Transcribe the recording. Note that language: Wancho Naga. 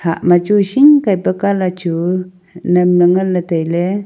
hah ma chu hing kai pa colour chu nam ley ngan ley tailey.